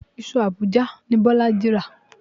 Iṣu Abuja ni Bọ́lájí rà.